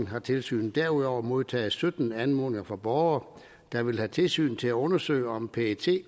har tilsynet derudover modtaget sytten anmodninger fra borgere der ville have tilsynet til at undersøge om pet